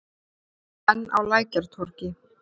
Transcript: Enn á Lækjartorgi.